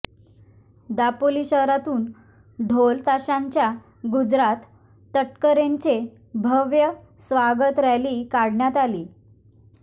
दापोली शहरातून ढोल ताशांच्या गजरात तटकरेंची भव्य स्वागत रॅली काढण्यात आली